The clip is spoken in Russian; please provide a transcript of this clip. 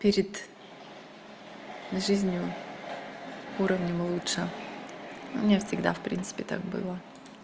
перед жизнью уровнем лучше мне всегда в принципе так было